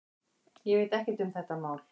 Ég veit ekkert um þetta mál.